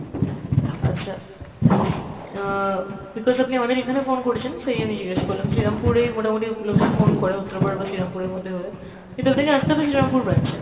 আচ্ছা, অ্যাঁ because আপনি আমাদের এখানে phone করেছেন তাই আমি জিজ্ঞাস করলাম যে রামপুরেই মোটামুটি লোকজন phone করে উত্তরপাড়া বা শ্রীরামপুরের মধ্যে হলে। কিন্তু আপনাকে আসতে হবে শ্রীরামপুর branch এ।